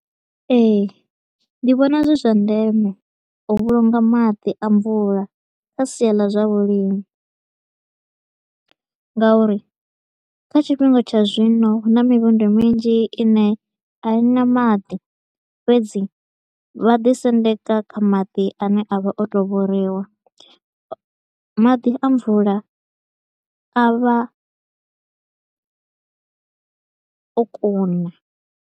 Ee, ndi vhona zwi zwa ndeme u vhulunga maḓi a mvula kha sia ḽa zwa vhulimi nga uri kha tshifhinga tsha zwino hu na mivhundu minzhi i ne a i na maḓi. Fhedzi vha ḓi sendeka kha maḓi a ne a vha o to u vhoriwa, maḓi a mvula a vha o kuna.